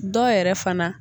Dɔw yɛrɛ fana